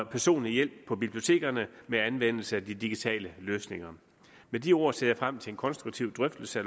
personlig hjælp på bibliotekerne ved anvendelse af de digitale løsninger med de ord ser jeg frem til en konstruktiv drøftelse